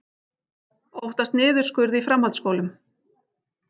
Óttast niðurskurð í framhaldsskólum